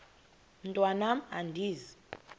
mntwan am andizi